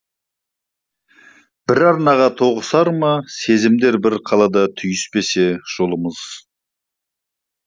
бір арнаға тоғысар ма сезімдер бір қалада түйіспесе жолымыз